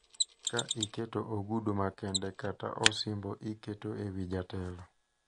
Ka iketo ogudu makende kata osimbo iketo e wi jatelo,